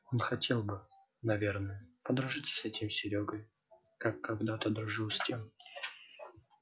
он хотел бы наверное подружиться с этим серёгой как когдато дружил с тем